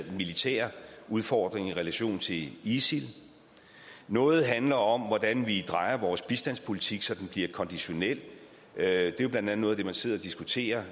militære udfordring i relation til isil noget handler om hvordan vi drejer vores bistandspolitik så den bliver konditionel det er jo blandt andet noget af det man sidder og diskuterer